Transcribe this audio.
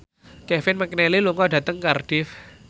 Kevin McNally lunga dhateng Cardiff